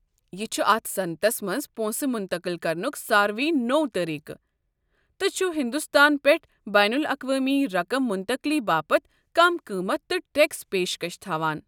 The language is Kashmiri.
یہِ چھُ اتھ صنعتس منزپونٛسہٕ مُنتقل كرنک ساروٕے نوٚو طریٖقہٕ، تہٕ چھُ ہندوستان پٮ۪ٹھہٕ بین لاقوٲمی رقم منتقٕلی باپت کم قۭمتھ تہٕ ٹیكس پیشكش تھوان۔